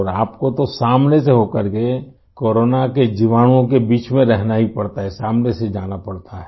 और आपको तो सामने से होकरके कोरोना के जीवाणुओं के बीच में रहना ही पड़ता है सामने से जाना पड़ता है